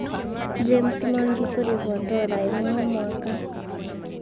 James Mwangi kũrĩhwo dora ĩmwe o mwaka